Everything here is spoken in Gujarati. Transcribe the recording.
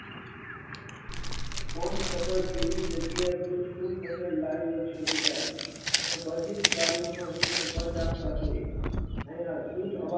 કોણ ખબર કેવી જગ્યા મને તું લાવ્યો છુ બેટા આ બધી જ